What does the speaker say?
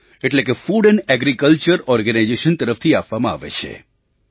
એટલે કે food and agriculture organisation તરફથી આપવામાં આવે છે